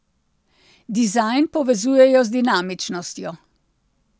Dizajn povezujejo z dinamičnostjo.